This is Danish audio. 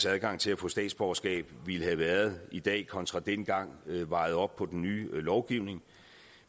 adgang til at få statsborgerskab ville have været i dag kontra dengang vejet op imod den nye lovgivning